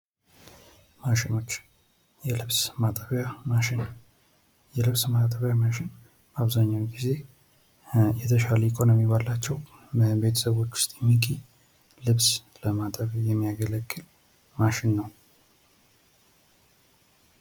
ማሽኖች የልብስ ማጠቢያ ማሽን የልብስ ማጠቢያ ማሽን አብዛኛውን ጊዜ የተሻለ ኢኮኖሚ ባላቸው ቤተሰቦች ዉስጥ የሚገኝ ልብስ ለማጠብ የሚያገለግል ማሽን ነው።